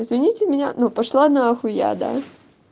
извините меня но пошла нахуй я да